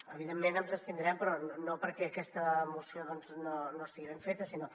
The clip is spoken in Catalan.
evidentment ens abstindrem però no perquè aquesta moció doncs no estigui ben feta sinó